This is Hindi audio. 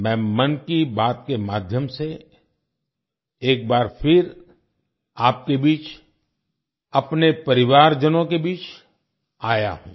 मैं 'मन की बात' के माध्यम से एक बार फिर आपके बीच अपने परिवारजनों के बीच आया हूँ